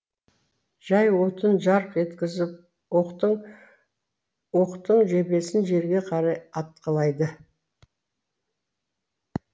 жай отын жарқ еткізіп оқтын оқтын жебесін жерге қарай атқылайды